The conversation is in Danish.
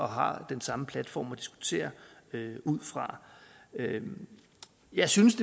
har den samme platform at diskutere ud fra jeg synes